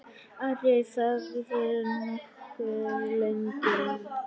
Ari þagði nokkuð lengi.